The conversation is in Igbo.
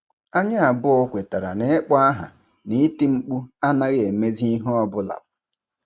Anyị abụọ kwetara na ịkpọ aha na iti mkpu anaghị emezi ihe ọ bụla.